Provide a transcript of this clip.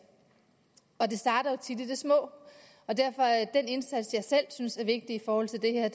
og det starter jo tit i det små derfor er den indsats jeg selv synes er vigtig i forhold til det her